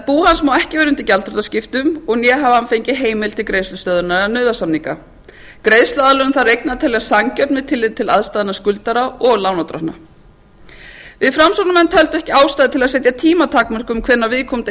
bú hans má ekki vera undir gjaldþrotaskiptum né hafi hann fengið heimild til greiðslustöðvunar eða nauðasamninga greiðsluaðlögun þarf að reikna með sanngjörnu tilliti til aðstæðna skuldara og lánardrottna við framsóknarmenn töldum ekki ástæðu til að setja tímatakmörkun hvenær viðkomandi